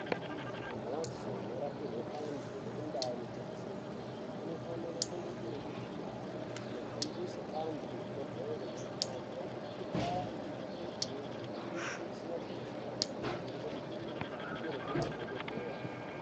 Kumbatso inorapirwa antu nekundaa inotengeswa mitombo kunofana kune motokari dzinohambisa antu kuzvibhedhlera kana antu ane mikuhlani isina kuita zvakanaka inoda kundoningirwa nemadhokodheya.